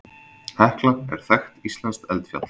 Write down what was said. Hekla er þekkt íslenskt eldfjall.